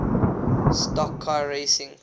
stock car racing